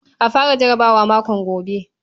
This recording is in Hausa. A fara jarabawa makon gobe.